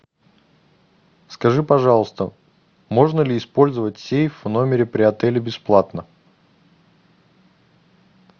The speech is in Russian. скажи пожалуйста можно ли использовать сейф в номере при отеле бесплатно